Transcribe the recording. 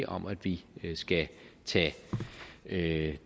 om at vi skal tage det